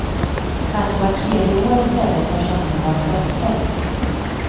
Kanske vart tredje år i stället för som nu vart sjätte.